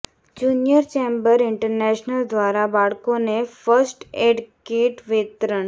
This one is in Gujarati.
જુનિયર ચેમ્બર ઈન્ટરનેશનલ દ્વારા બાળકોને ફસ્ટ એડ કીટ વિતરણ